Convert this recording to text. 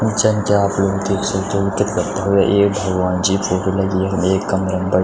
जन की आप लोग देख सक्दों किथगा भव्य एक भगवान जी क् फोटो लगीं यखम एक कमरा म ब् --